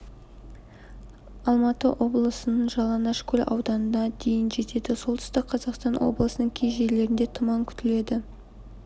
алматы облысының жалаңашкөл ауданында жел дейін жетеді солтүстік қазақстан облысының кей жерлерінде тұман күтіледі